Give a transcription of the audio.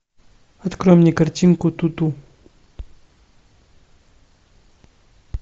открой мне картинку ту ту